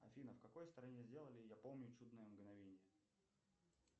афина в какой стране сделали я помню чудное мгновенье